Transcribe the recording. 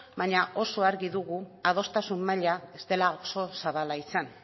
baina oso argi dugu adostasun maila ez dela oso zabala izan